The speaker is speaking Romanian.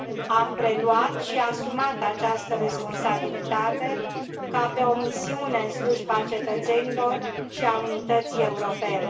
Am preluat și asumat această responsabilitate ca pe o misiune în slujba cetățenilor și a unității europene.